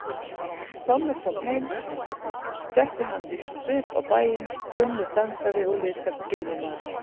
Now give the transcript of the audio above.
Tommi kom heim setti hann víst svip á bæinn, kunnur dansari og liðtækur glímumaður.